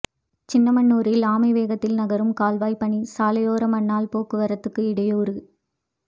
சின்னமனூரில் ஆமை வேகத்தில் நகரும் கால்வாய்ப் பணி சாலையோர மண்ணால் போக்குவரத்து இடையூறு